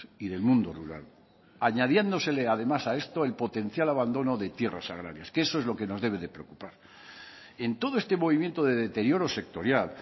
y del mundo rural añadiéndosele además a esto el potencial abandono de tierras agrarias que eso es lo que nos debe de preocupar en todo este movimiento de deterioro sectorial